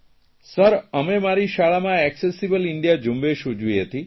sir અને મારી શાળામાં એકસેસીબલ ઇન્ડિયા ઝુંબેશ ઉજવી હતી